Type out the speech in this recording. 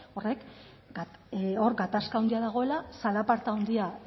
hor gatazka handia dagoela zalaparta handia